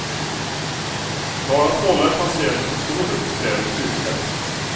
Bara att hålla en patient som står upp kräver styrka.